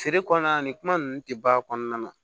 Feere kɔnɔna ni kuma ninnu tɛ ban a kɔnɔna na